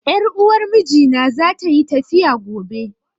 Ƴar uwar mijina za ta yi tafiya gobe